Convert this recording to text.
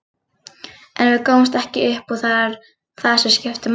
En við gáfumst ekki upp og það er það sem skiptir máli.